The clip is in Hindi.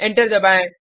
एंटर दबाएँ